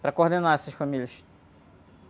Para coordenar essas famílias.